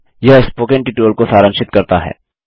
यह spoken tutorial को सारांशित करता है